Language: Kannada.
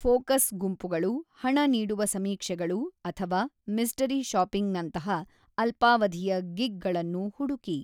ಫೋಕಸ್ ಗುಂಪುಗಳು, ಹಣನೀಡುವ ಸಮೀಕ್ಷೆಗಳು ಅಥವಾ ಮಿಸ್ಟರಿ ಶಾಪಿಂಗ್‌ನಂತಹ ಅಲ್ಪಾವಧಿಯ ಗಿಗ್‌ಗಳನ್ನು ಹುಡುಕಿ.